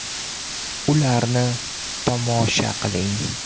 Ularni tomosha qiling !